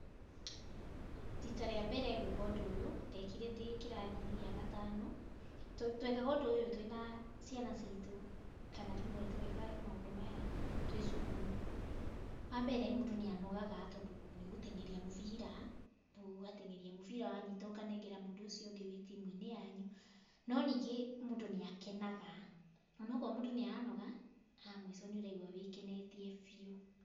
Rita rĩa mbere gwĩka ũndũ ũyũ, ndekire ndĩ kĩrathi gĩa gatano. Twekaga ũndũ ũyũ twĩna ciana citũ, kana rĩmwe tũgeka maũndũ maya twĩ cukuru. Wa mbere, mũndũ nĩ anogaga tondũ nĩ gũteng'eria mũbira, rĩu ũgateng'eria mũbira, wanyita ũkanengera mũndũ ũcio ũngĩ wĩ timu-inĩ yanyu. No ningĩ mũndũ nĩakenaga, onongorwo mũndũ nĩaranoga, ha mũico nĩ ũraigua wĩ kenetie biũ.